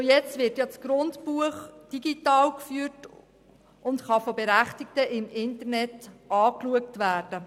Schon heute wird das Grundbuchamt digital geführt, und es kann von Berechtigten via Internet genutzt werden.